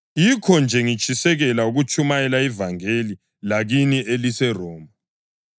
Yikho-nje ngitshisekela ukutshumayela ivangeli lakini eliseRoma.